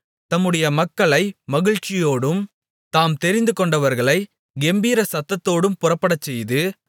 தம்முடைய மக்களை மகிழ்ச்சியோடும் தாம் தெரிந்துகொண்டவர்களைக் கெம்பீர சத்தத்தோடும் புறப்படச்செய்து